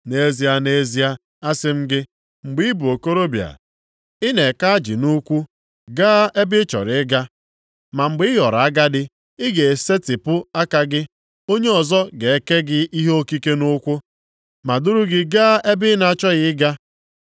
Nʼezie, nʼezie asị m gị, mgbe ị bụ okorobịa ị na-eke ajị nʼukwu, gaa ebe ị chọrọ ịga. Ma mgbe ị ghọrọ agadi, ị ga-esetipụ aka gị, onye ọzọ ga-ekee gị ihe okike nʼukwu ma duru gị gaa ebe ị na-achọghị ịga.”